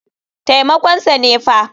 Taimakon sa ne fa.